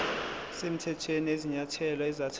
semthethweni kwezinyathelo ezathathwa